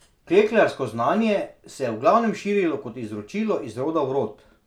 Klekljarsko znanje se je v glavnem širilo kot izročilo iz roda v rod.